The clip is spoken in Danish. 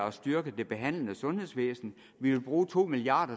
at styrke det behandlende sundhedsvæsen vi vil bruge to milliard